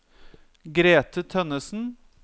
Grethe Tønnesen